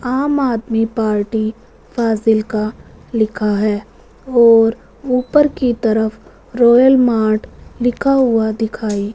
आम आदमी पार्टी फाजिल्का लिखा है और ऊपर की तरफ रॉयल मार्ट लिखा हुआ दिखाई--